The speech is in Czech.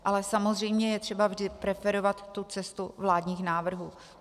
Ale samozřejmě je třeba vždy preferovat tu cestu vládních návrhů.